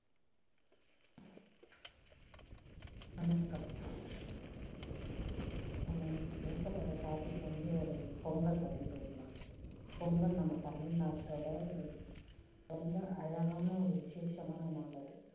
வணக்கம். நம்ம இன்னிக்கு பேசப்போற topic வந்து ஒரு பொங்கல் பத்தி பேசலாம். பொங்கல் நம்ம தமிழ்நாட்டோட ஒரு ரொம்ப அழகான ஒரு விஷேஷமான நாள் அது.